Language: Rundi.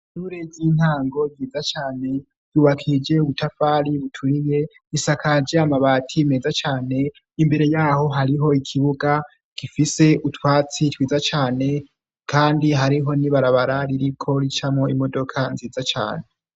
Ishure z'intango nziza cane ,yubakije ubutafari buturiye, isakaje amabati meza cane, imbere yaho hariho ikibuga gifise utwatsi twiza cane kandi hariho n'ibarabara ririko ricamwo imodoka nziza cane.